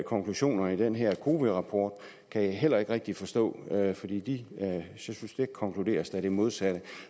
konklusioner i den her cowi rapport kan jeg heller ikke rigtig forstå fordi der konkluderes da det modsatte